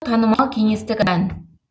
танымал кеңестік ән